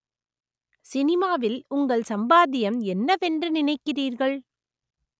சினிமாவில் உங்கள் சம்பாத்தியம் என்னவென்று நினைக்கிறீர்கள்